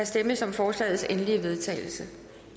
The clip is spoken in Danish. stemmes om forslagets endelige vedtagelse